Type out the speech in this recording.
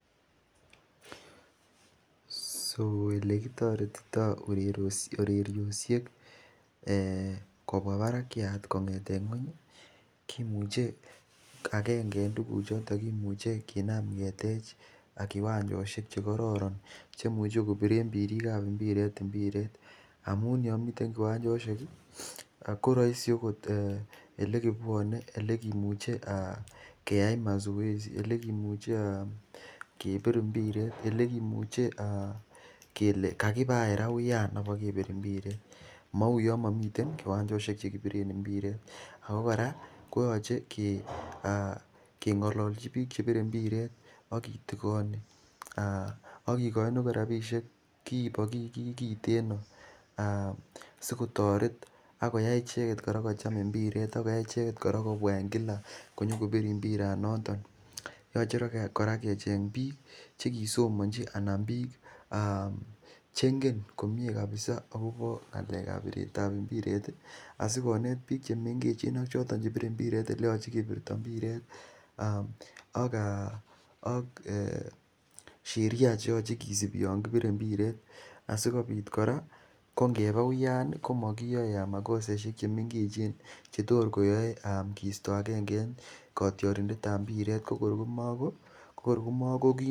Olekitoretititoi urerioshek kopwa parakyat kong'eten ng'weny komuchei akenge eng' tukuchuton kimuchei kinam ketech kiwanjoshek chekororon cheimuchen kopire pirik ap mpiret mpireshek amun yomiten kiwanjoshek koroisi olekipwone olekimuchei keyai mazoezi olekimuchei kepir mpiret ole kimuchei kele kakipa anyun ra uyan apokepir mpiret mauyon mamiten kiwanjoshek chekipiren mpiret ako kora koyoche keng'ololchi piik chepire mpiret akitikoni akikoini akot ropishek kipikiit kiiten no sikotoret akoyai icheket kora kocham mpiret akoyai icheket kopwa en kila nyokopir mpiranaton yochei kora kecheny piik chekisomonchi anan piik chengen komie kabisa akopo ng'alek ap piret ap mpiret asikonet piik chemengech ak choton chepire mpiret oleyochei kepirto mpiretak sheria chekisipi yon kopure mpiret asikopit kora ko ngepa uyan komakiyoe makoseshek chemengechen chetos koyoei keistan aenge en kotiotindet ap mpiret komara makokim.